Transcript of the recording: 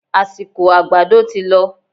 Àsìkò àgbàdo tí lọ